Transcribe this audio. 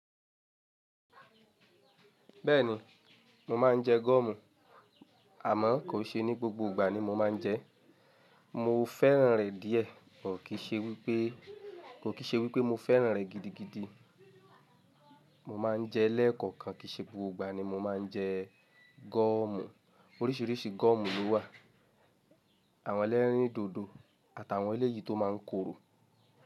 Bẹ́ẹ̀ni, mo má ń jẹ gọ́ọ̀mù. Àmọ́ kò ṣe ní gbogbo ìgbà ni mo má ń jẹ é. Mo fẹ́ràn rẹ̀ díẹ̀, buh kí ṣe wípé, kò kí ṣe wípé mo fẹ́ràn rẹ̀ gidigidi. Mo má ń jẹ lẹ́ẹ̀kọ̀kan, kìí ṣe gbogbo ìgbà ni mo má ń jẹ gọ́ọ̀mù. Oríṣìíríṣìí gọ́ọ̀mù ló wà. Àwọn ẹlẹ́rìndòdò àtàwọn ẹlẹ́yìí tó má ń korò.